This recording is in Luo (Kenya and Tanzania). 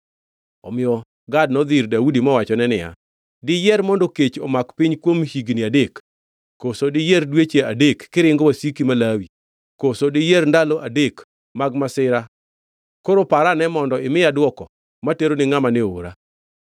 Omiyo Gad nodhi ir Daudi mowachone niya, “Diyier mondo kech omak piny kuom higni adek? Koso diyier dweche adek kiringo wasiki malawi? Koso diyier ndalo adek mag masira? Koro par ane mondo imiya dwoko matero ni ngʼama ne oora.”